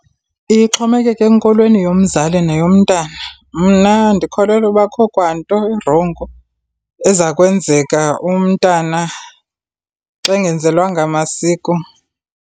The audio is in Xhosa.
Iye ixhomekeke enkolweni yomzali neyomntana. Mna ndikholelwa uba akukho kwanto irongo eza kwenzeka umntana xa engenzelwanga masiko.